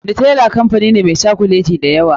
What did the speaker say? Nutella kamfani ne meh cokuleti da yawa.